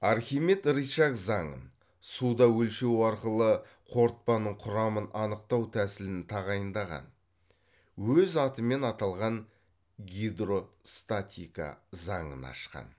архимед рычаг заңын суда өлшеу арқылы қорытпаның құрамын анықтау тәсілін тағайындаған өз атымен аталған гидростатика заңын ашқан